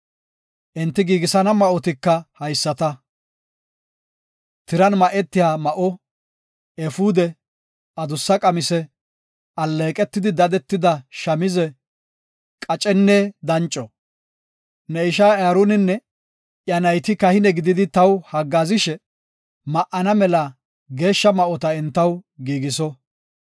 Enti giigisana ma7otika haysata; tiran ma7etiya ma7o, efuude, adussa qamise, alleeqetidi dadetida shamize, qacenne danco. Ne ishay Aaroninne iya nayti kahine gididi taw haggaazishe ma7ana mela geeshsha ma7ota entaw giigiso.